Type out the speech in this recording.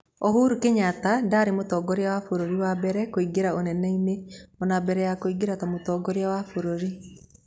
ũhuru Kĩnyata ndarĩ mũtongoria wa bũrũri wa mbere kũingĩra ũneneinĩ, ona mbere ya kũingĩra ta mũtongorĩa wa bũrũri.